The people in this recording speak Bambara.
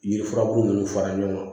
Yiri furabulu ninnu fara ɲɔgɔn kan